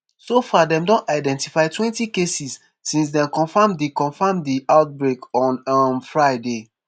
so far dem don identify twenty cases since dem confam di confam di outbreak on um friday